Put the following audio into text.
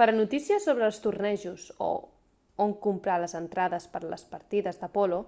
per a notícies sobre els tornejos o on comprar les entrades per a les partides de polo